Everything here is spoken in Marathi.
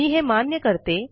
मी हे मान्य करते